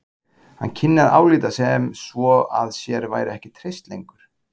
Hann kynni að álíta sem svo að sér væri ekki treyst lengur.